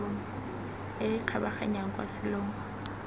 e e kgabaganyang kwa selong